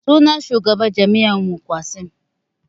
Sunan shugaban jami'an su Qassim